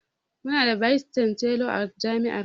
Mu na da 'vice chancellor'a jami'ar mu